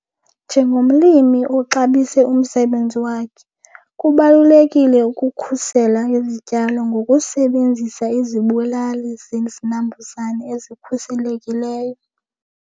Njengomlimi oxabise umsebenzi wakhe kubalulekile ukukhusela izityalo ngokusebenzisa izibulali zinambuzane ezikhuselekileyo.